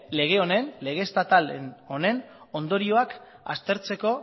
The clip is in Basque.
lege estatal honen ondorioak aztertzeko